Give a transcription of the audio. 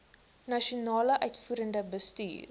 nasionale uitvoerende bestuur